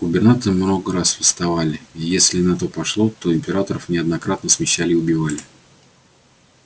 губернаторы много раз восставали и если на то пошло то и императоров неоднократно смещали и убивали